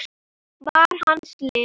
var hans lið.